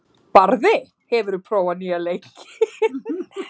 Barði, hefur þú prófað nýja leikinn?